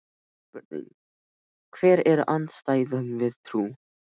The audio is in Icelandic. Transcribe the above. Spurning: Hver er andstæðan við trú?